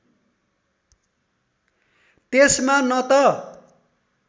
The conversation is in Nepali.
त्यसमा न त